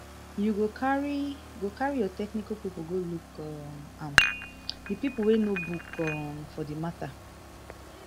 you go carry go carry your technical pipo go look um am di pipo wey know book um for di mata